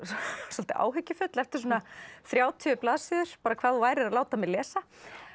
svolítið áhyggjufull eftir svona þrjátíu blaðsíður bara hvað þú værir að láta mig lesa